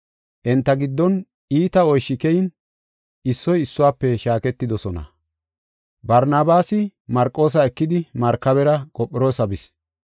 Enta giddon iita ooshshi keyin issoy issuwafe shaaketidosona. Barnabaasi Marqoosa ekidi markabera Qophiroosa bis.